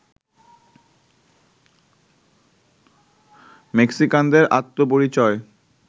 মেক্সিকানদের আত্মপরিচয়